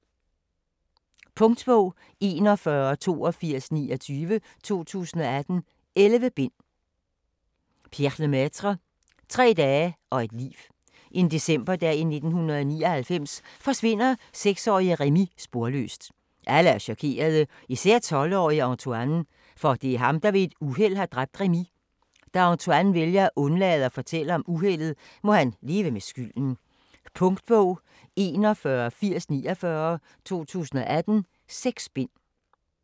Lemaitre, Pierre: Tre dage og et liv En decemberdag i 1999 forsvinder seksårige Rémi sporløst. Alle er chokerede, især 12-årige Antoine, for det er ham der ved et uheld har dræbt Rémi. Da Antoine vælger at undlade at fortælle om uheldet, må han leve med skylden. Punktbog 418049 2018. 6 bind.